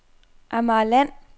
Amagerland